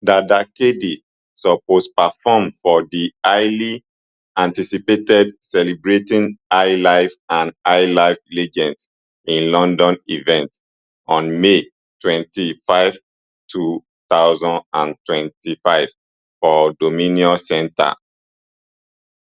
dada kd suppose perform for di highly anticipated celebrating hiplife and highlife legends in london event on may twenty-five two thousand and twenty-five for dominion centre